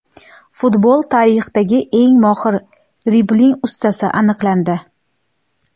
Futbol tarixidagi eng mohir dribling ustasi aniqlandi.